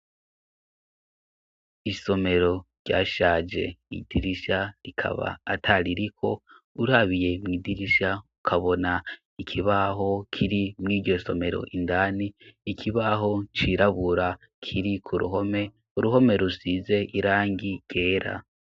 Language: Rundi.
Isomero ryashaje, idirisha rikaba ataririko, urabiye mw'idirisha ukabona ikibaho kiri mw'iryo somero indani, ikibaho cirabura kiri k'uruhome, uruhome rusize irangi ryera.